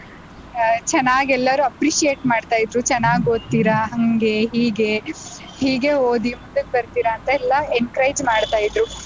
ಆಹ್ ಚೆನ್ನಾಗ್ ಎಲ್ಲಾರು appreciate ಮಾಡ್ತಾ ಇದ್ರು ಚೆನಾಗ್ ಓದ್ತೀರ ಹಂಗೆ ಹೀಗೆ ಹೀಗೆ ಓದಿ ಮುಂದಕ್ಕ್ ಬರ್ತೀರಾ ಅಂತ ಎಲ್ಲಾ encourage ಮಾಡ್ತಾ ಇದ್ರು.